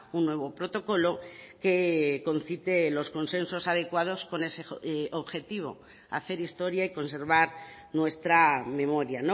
un nuevo protocolo que concite los consensos adecuados con ese objetivo hacer historia y conservar nuestra memoria